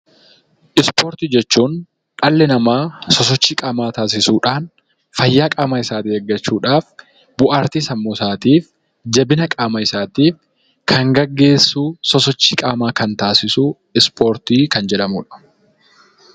Ispoortii jechuun dhalli namaa sosochii qaamaa taasisuudhaan , fayyaa qaama isaa eeggachuudhaaf , bohaartii sammuu isaatiif, jabina qaama isaatiif kan gaggeessu, sosochii qaamaa kan taasisu ispoortii kan jedhamudha.